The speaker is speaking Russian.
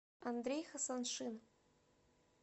андрей хасаншин